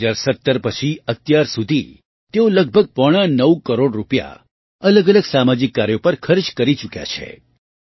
2017 પછી અત્યાર સુધી તેઓ લગભગ પોણા નવ કરોડ રૂપિયા અલગઅલગ સામાજિક કાર્યો પર ખર્ચ કરી ચૂક્યા છે